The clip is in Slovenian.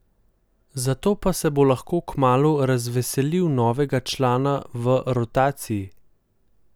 Zato pa se bo lahko kmalu razveselil novega člana v rotaciji.